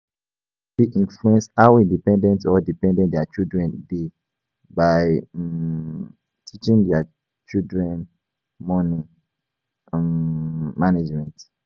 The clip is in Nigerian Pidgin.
Parent fit influence how independent or dependent their children dey by um teaching their children money um management